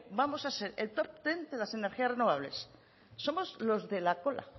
vamos a ser el top diez de las energías renovables somos los de la cola